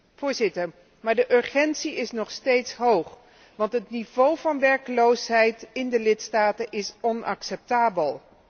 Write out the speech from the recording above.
Maar, Voorzitter, de urgentie is nog steeds hoog, want het niveau van werkeloosheid in de lidstaten is onacceptabel.